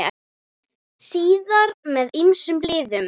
Síðar með ýmsum liðum.